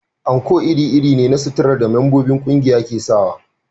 Anko iri-iri ne na suturar da membobin ƙungiya ke sawa